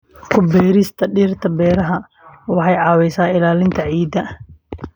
Ku beerista dhirta beeraha waxay caawisaa ilaalinta ciidda.